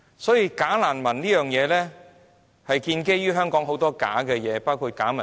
所以，"假難民"這件事是建基於香港很多的假事物，包括假民主。